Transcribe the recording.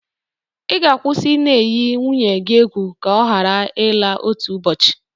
Ị ga-akwụsị ị na-eyi nwunye gi egwu ka ọ hara ịla otu ụbọchị.